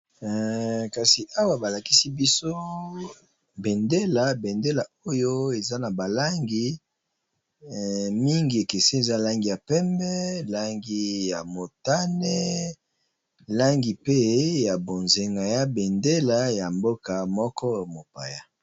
Kasi awa ba lakisi biso bendela, bendela oyo eza na ba langi mingi ekeseni. Eza langi ya pembe, langi ya motane, langi pe ya bonzenga, eza bendela ya mboka moko mopaya.